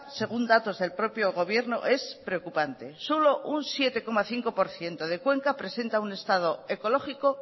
según datos del propio gobierno es preocupante solo un siete coma cinco por ciento de cuenca presenta un estado ecológico